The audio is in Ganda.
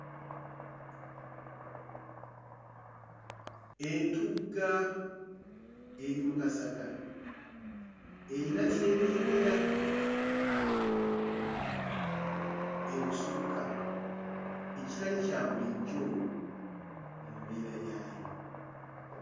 Entugga eri mu kasaka, eyina ky'erengera ebusukka ekitali kya bulijjo mu mbeera yaayo.